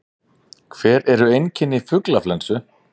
Hver eru einkenni fuglaflensu?